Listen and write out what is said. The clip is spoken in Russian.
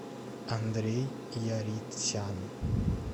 андрей яритсян